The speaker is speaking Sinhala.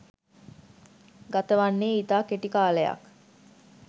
ගතවන්නේ ඉතා කෙටි කාලයක්